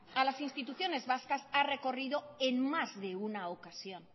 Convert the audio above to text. a las instituciones vascas ha recorrido en más de una ocasión